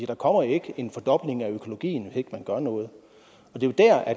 der kommer jo ikke en fordobling af økologien hvis ikke man gør noget